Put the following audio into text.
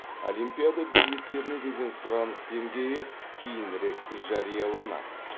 олимпиада билеттеріне деген сұраныс деңгейі кейінірек жарияланады